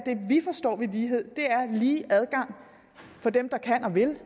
vi forstår ved lighed er lige adgang for dem der kan og vil